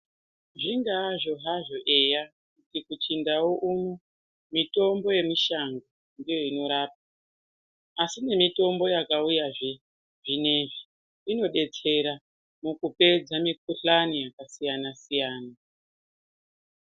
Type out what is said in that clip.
Zvingazvo hazvo eya kuti kuchindau uno mitombo yemushango ndiyo inorapa asi nemitombo yamauya zvinezvi inodetsera mukupedza mikhuhlani yakasiyana-siyana.